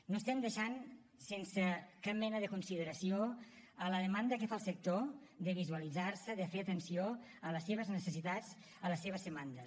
no estem deixant sense cap mena de consideració la demanda que fa el sector de visualitzar se de fer atenció a les seves necessitats a les seves demandes